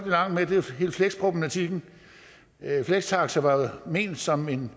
hele flexproblematikken flextaxa var jo ment som en